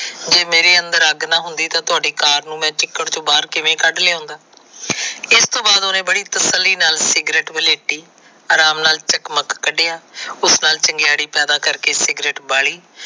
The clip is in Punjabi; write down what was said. ਜੇ ਮੇਰੇ ਅੰਦਰ ਅੱਗ ਨਾ ਹੁੰਦੀ ਤਾਂ ਤੁਹਾਡੀ ਕਾਰ ਨੂੰ ਮੈ ਚਿੱਕਰ ਚੋ ਬਾਹਰ ਕਿਵੇ ਲਿਉਣਾ। ਇਸ ਤੋ ਬਾਦ ਉਹਨੇ ਬੜੀ ਤਸੱਲੀ ਵਾਲ ਸਿਗਰਟ ਬਲੇਟੀ ਆਰਾਮ ਨਾਲ ਜਗਮਗ ਕੱਡਿਆਂ। ਉਸ ਨਾਲ ਚਿੰਗਿਆੜੀ ਪੈਦਾ ਕਰਕੇ ਸਿਗਰਟ ਬਾਲੀ।